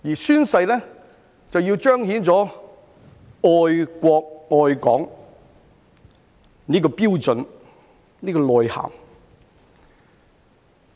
宣誓是要彰顯愛國、愛港的標準、內涵。